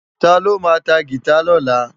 Táló má tá gitá lòlá?